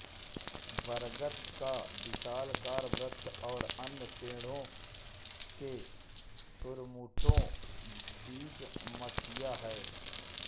बरगद का विशालकाय वृक्ष और अन्य पेड़ों के झुरमुटों बीच मठिया है